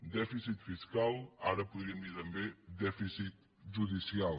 dèficit fiscal ara podríem dir també dèficit judicial